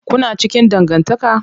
Kuna cikin dangantaka?